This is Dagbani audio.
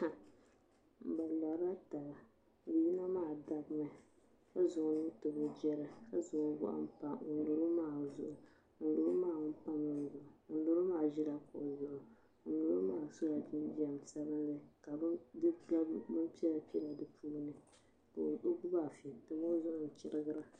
Bi lɔri la taba yino maa dabimi ka zaŋ. o nuu n tabi o girili ka o gɔɣi mpa ŋuni bɔŋɔ maa zuɣu ŋuni bɔŋɔ maa ŋuni pamila o zuɣu ŋuni bɔŋɔ maa zila kuɣu zuɣu ŋuni lori o maa so la jinjɛm sabinli ka di gabi bini piɛla piɛla di puuni ka o gbubi afi n tim o zuɣuni n chirigra.